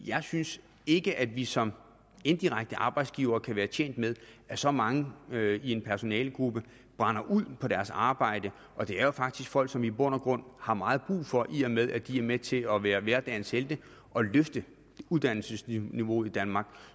jeg synes ikke at vi som indirekte arbejdsgiver kan være tjent med at så mange i en personalegruppe brænder ud på deres arbejde det er jo faktisk folk som vi i bund og grund har meget brug for i og med at de er med til at være hverdagens helte og løfte uddannelsesniveauet i danmark